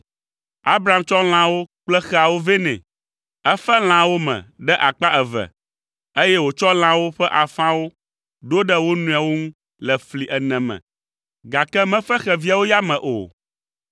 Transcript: Abram tsɔ lãawo kple xeawo vɛ nɛ. Efe lãawo me ɖe akpa eve, eye wòtsɔ lãawo ƒe afãwo ɖo ɖe wo nɔewo ŋu le fli ene me, gake mefe xeviawo yame o.